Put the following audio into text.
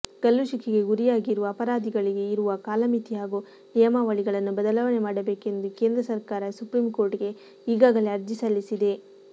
ಗಲ್ಲುಶಿಕ್ಷೆಗೆ ಗುರಿಯಾಗಿರುವ ಅಪರಾಧಿಗಳಿಗೆ ಇರುವ ಕಾಲಮಿತಿ ಹಾಗೂ ನಿಯಮಾವಳಿಗಳನ್ನು ಬದಲಾವಣೆ ಮಾಡಬೇಕೆಂದು ಕೇಂದ್ರ ಸರ್ಕಾರ ಸುಪ್ರೀಂಕೋರ್ಟ್ಗೆ ಈಗಾಗಲೇ ಅರ್ಜಿ ಸಲ್ಲಿಸಿದೆ